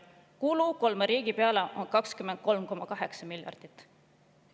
Kulud kolme riigi peale on 23,8 miljardit.